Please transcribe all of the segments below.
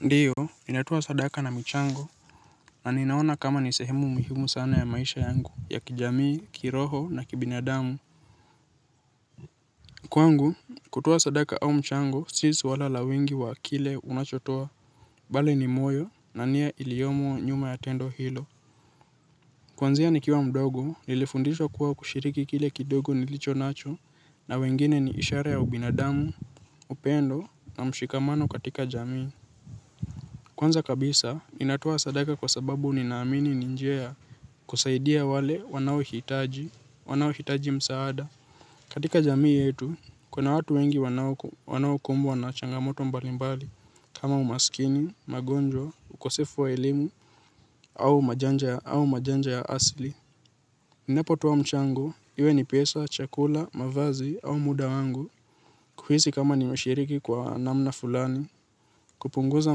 Ndiyo, ni natuwa sadaka na michango, na ninaona kama ni sehemu muhimu sana ya maisha yangu, ya kijamii, kiroho na kibinadamu. Kwangu, kutoa sadaka au mchango, si swala la wingi wa kile unachotoa, bali ni moyo, na nia iliyomo nyuma ya tendo hilo. Kwanzia ni kiwa mdogo, nilifundishwa kuwa kushiriki kile kidogo nilicho nacho, na wengine ni ishara ya ubinadamu, upendo, na mshikamano katika jamii. Kwanza kabisa ninatua sadaka kwa sababu ninaamini ni njia ya kusaidia wale wanao hitaji wanaohijati msaada. Katika jamii yetu, kuna watu wengi wanao kumbwa na changamoto mbalimbali kama umasikini, magonjwa, ukosefu wa elimu, au majanja ya asli. Ninapo toa mchango, iwe ni pesa, chakula, mavazi au muda wangu. Kuhisi kama nimeshiriki kwa namna fulani. Kupunguza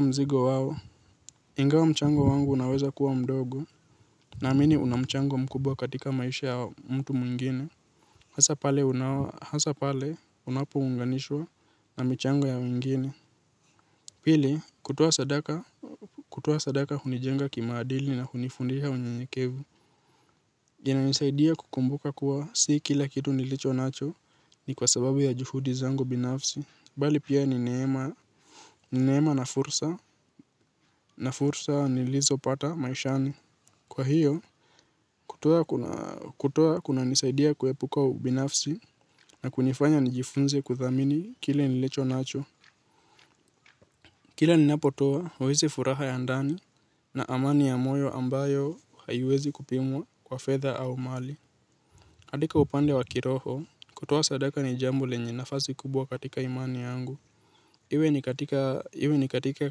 mzigo wao. Ingawa mchango wangu unaweza kuwa mdogo naamini unamchango mkubwa katika maisha ya mtu mwingine. Hasa pale unapo unganishwa na michango ya wengine. Pili kutoa sadaka kutoa sadaka hunijenga kimaadili na hunifundiha unyenyekevu ina nisaidia kukumbuka kuwa si kila kitu nilicho nacho ni kwa sababu ya juhudi zangu binafsi. Bali pia nineema na fursa na fursa nilizo pata maishani. Kwa hiyo, kutoa kuna nisaidia kuhepuka ubinafsi na kunifanya nijifunze kuthamini kile nilicho nacho. Kila ninapotoa, weze furaha ya ndani na amani ya moyo ambayo hayuezi kupimwa kwa fedha au mali. Katika upande wa kiroho, kutoa sadaka ni jambo lenye nafazi kubwa katika imani yangu. Iwe ni katika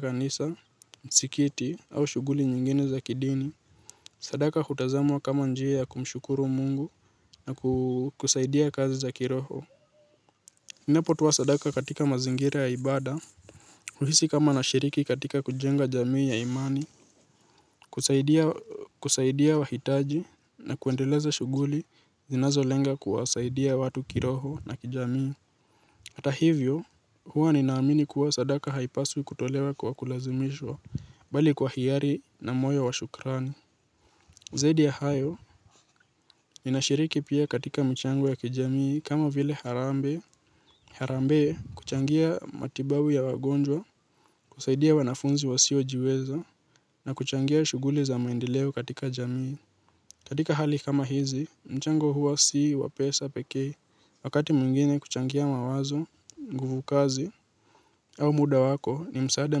kanisa, msikiti au shuguli nyingine za kidini. Sadaka hutazamwa kama njia ya kumshukuru Mungu na kusaidia kazi za kiroho. Napo tua sadaka katika mazingira ya ibada, uhisi kama na shiriki katika kujenga jamii ya imani, kusaidia wahitaji na kwendeleza shuguli zinazo lenga kuwasaidia watu kiroho na kijamii. Ata hivyo, huwa ninaamini kuwa sadaka haipaswi kutolewa kwa kulazimishwa, bali kwa hiari na moyo wa shukrani. Zaidi ya hayo, inashiriki pia katika mchango ya kijamii kama vile harambe. Harambee kuchangia matibabu ya wagonjwa, kusaidia wanafunzi wasio jiweza, na kuchangia shuguli za maendeleo katika jamii. Katika hali kama hizi, mchango huwa sii, wapesa, pekee, wakati mwingine kuchangia mawazo, nguvu kazi, au muda wako ni msaada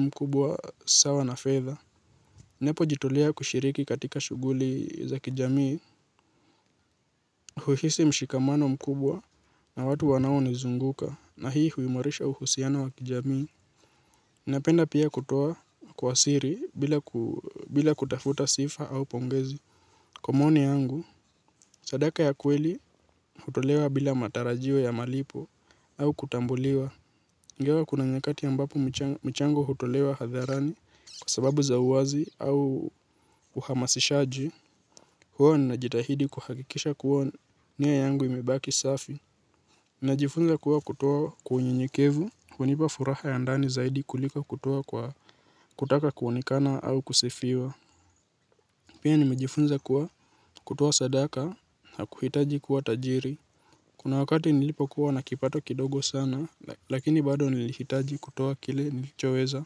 mkubwa sawa na fedha. Ninapo jitolea kushiriki katika shughuli za kijamii huahisi mshikamano mkubwa na watu wanaonizunguka na hii huimarisha uhusiano wa kijamii napenda pia kutoa kwa siri bila ku bila kutafuta sifa au pongezi. Kwa moni yangu, sadaka ya kweli hutolewa bila matarajio ya malipo au kutambuliwa. Ya kuna nyakati ambapo michango hutolewa hadharani kwa sababu za uwazi au uhamasishaji hua ninajitahidi kuhakikisha kua nia yangu imebaki safi. Najifunza kua kutuwa kwa unyenyekevu, hunipa furaha ya ndani zaidi kulika kutoa kwa kutaka kuoneiana au kusifiwa. Pia nimejifunza kuwa kutua sadaka hakuhitaji kuwa tajiri. Kuna wakati nilipo kua nakipato kidogo sana, lakini bado nilihitaji kutuwa kile nilichoweza.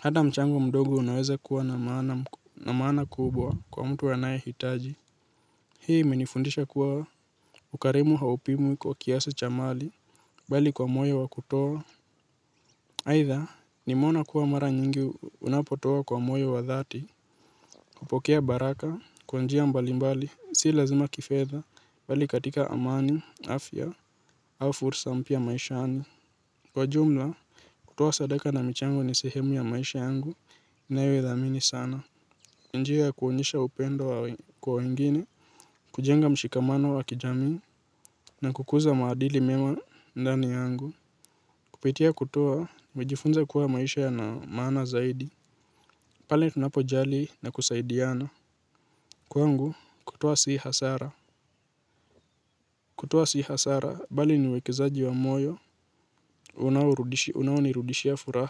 Hata mchango mdogo unaweza kuwa na maana kubwa kwa mtu anae hitaji. Hii iminifundisha kuwa ukarimu haupimwi kwa kiasa cha mali bali kwa moyo wa kutoa aidha ni mwona kuwa mara nyingi unapotoa kwa moyo wadhati. Kupokea baraka, kwa njia mbalimbali, si lazima kifedha, bali katika amani, afya, au fursa mpia maishani. Kwa jumla, kutoa sadaka na michango ni sehemu ya maisha yangu. Nayo idhamini sana. Njia ya kwonyesha upendo kwa wengine, kujenga mshikamano wa kijamii, na kukuza maadili mema ndani yangu. Kupitia kutoa, majifunza kuwa maisha yana maana zaidi. Pale tunapojali na kusaidiana kwangu, kutoa si hasara. Kutoa si hasara bali ni uwekezaji wa moyo unaonirudishia furaha.